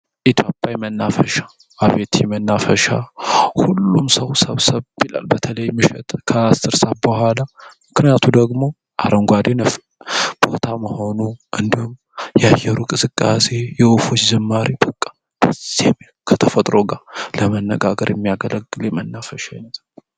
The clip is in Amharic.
ኢትዮጵያዊ መናፈሻ ጣይቱ መናፈሻ ሁሉም ሰው ብሎ በተለይ ከ 10 ሰዓት በኋላ ምክንያቱ ደግሞ አረንጓዴ ቦታ መሆኑን የአየሩ ቅዝቃዜ የወፉ ዝማሬ በቃ ደስ የሚል ከተፈጥሮ ጋር ለመነጋገር የሚያገለግል መናፈሻ አይነት ነው።